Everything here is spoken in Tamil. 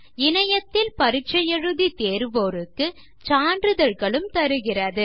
இணையத்தில் பரிட்சை எழுதி தேர்வோருக்கு சான்றிதழ்களும் தருகிறது